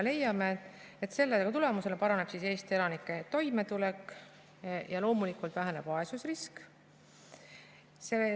Leiame, et selle tulemusena paraneb Eesti elanike toimetulek ja loomulikult väheneb vaesusrisk.